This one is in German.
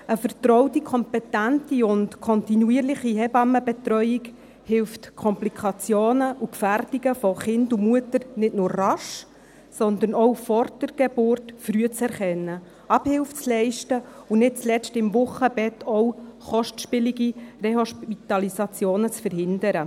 Eine vertraute, kompetente und kontinuierliche Hebammenbetreuung hilft, Komplikationen und Gefährdungen von Kind und Mutter nicht nur rasch, sondern auch vor der Geburt früh zu erkennen, Abhilfe zu leisten, und nicht zuletzt beim Wochenbett auch kostspielige Rehospitalisationen zu verhindern.